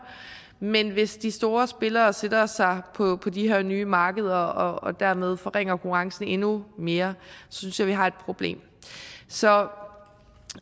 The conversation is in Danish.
men hvis de store spillere sætter sig på de her nye markeder og dermed forringer konkurrencen endnu mere synes jeg vi har et problem så